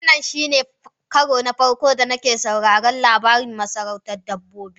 Wannan shine karo na farko da nake sauraron labarin masarautar dabbobi.